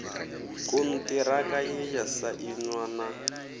konṱiraka ye ya sainwa na